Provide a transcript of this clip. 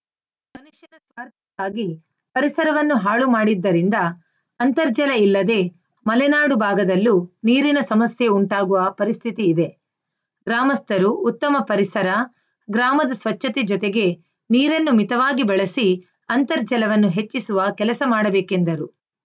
ಮನುಷ್ಯನ ಸ್ವಾರ್ಥಕ್ಕಾಗಿ ಪರಿಸರವನ್ನು ಹಾಳುಮಾಡಿದ್ದರಿಂದ ಅಂತರ್ಜಲ ಇಲ್ಲದೆ ಮಲೆನಾಡು ಭಾಗದಲ್ಲೂ ನೀರಿನ ಸಮಸ್ಯೆ ಉಂಟಾಗುವ ಪರಿಸ್ಥಿತಿ ಇದೆ ಗ್ರಾಮಸ್ಥರು ಉತ್ತಮ ಪರಿಸರ ಗ್ರಾಮದ ಸ್ವಚ್ಛತೆ ಜೊತೆಗೆ ನೀರನ್ನು ಮಿತವಾಗಿ ಬಳಸಿ ಅಂತರ್ಜಲವನ್ನು ಹೆಚ್ಚಿಸುವ ಕೆಲಸ ಮಾಡಬೇಕೆಂದರು